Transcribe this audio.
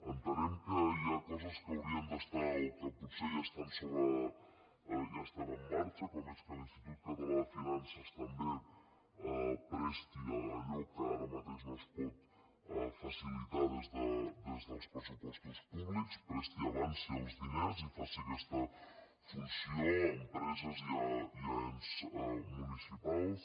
entenem que hi ha coses que haurien d’estar o que potser ja estan en marxa com és que l’institut català de finances també presti allò que ara mateix no es pot facilitar des dels pressupostos públics presti avanci els diners i faci aquesta funció a empreses i a ens municipals